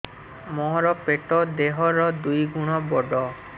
ମୋର ପେଟ ଦେହ ର ଦୁଇ ଗୁଣ ବଡ